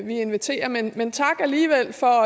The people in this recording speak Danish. vi inviterer men men tak alligevel for